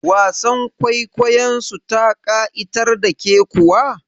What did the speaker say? Wasar kwaikwayon su ta ƙa'itar da ke kuwa?